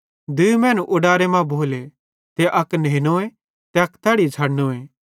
दूई मैनू उडारे मां भोले त अक नेनोए ते अक तैड़ी छ़डनोए